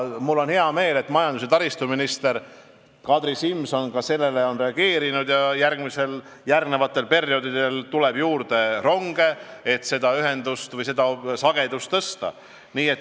Mul on hea meel, et majandus- ja taristuminister Kadri Simson on sellele reageerinud ja järgmistel perioodidel tuleb ronge juurde, et sõidusagedust tõsta.